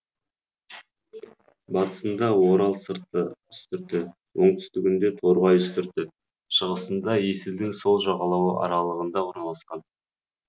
батысында орал сырты үстірті оңтүстігінде торғай үстірті шығысында есілдің сол жағалауы аралығында орналасқан